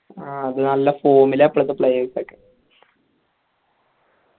അത് നല്ല form ലാണ് ഇപ്പോളത്തെ players ഒക്കെ